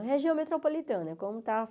É uma região metropolitana. Como está